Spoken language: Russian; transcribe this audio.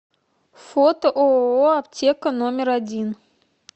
фото ооо аптека номер один